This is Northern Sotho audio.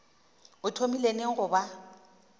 o thomile neng go ba